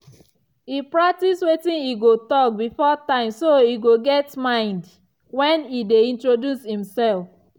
e practice wetin e go talk before time so e go get mind when e dey introduce himself.